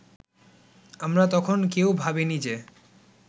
আমরা তখন কেউ ভাবিনি যে